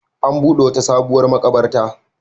An buɗe wata sabuwar maƙabarta.